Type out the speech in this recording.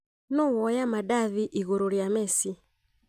Nũ woya madathi ĩguru rĩa mess?